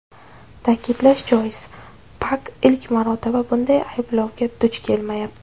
Ta’kidlash joiz, Pak ilk marotaba bunday ayblovga duch kelmayapti.